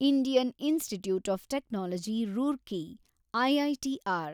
Indian institute of technology Roorkee IITR